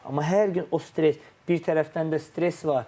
Amma hər gün o stres, bir tərəfdən də stres var.